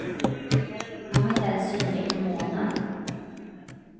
Han var inte ens synlig på månen.